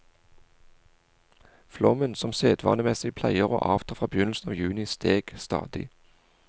Flommen som sedvanemessig pleier å avta fra begynnelsen av juni, steg stadig.